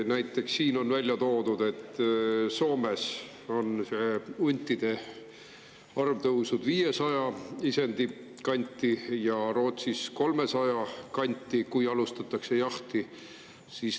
Näiteks on siin välja toodud, et Soomes on huntide arv tõusnud 500 isendi ja Rootsis 300 isendi kanti, kui alustatakse jahti.